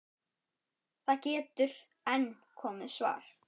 Það getur enn komið svar!